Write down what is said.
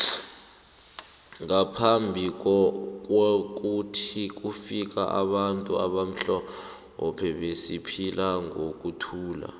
ngaphambi kwokuthi kufika abantu abamhlophe besiphila ngokuthula